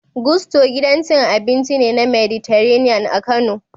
Gusto, gidan cin abinci ne na Mediterranean a Kano